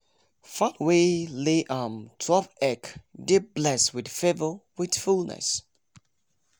fowl wey lay um twelve egg dey bless with favour with fullness